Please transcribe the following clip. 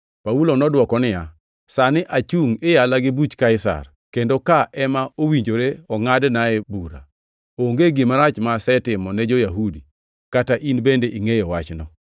Paulo nodwoke niya, “Sani achungʼ iyala gi Buch Kaisar, kendo ka ema owinjore ongʼadnae bura. Onge gima rach ma asetimo ne jo-Yahudi, kata in bende ingʼeyo wachno maber.